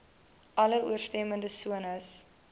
alle ooreenstemmende sones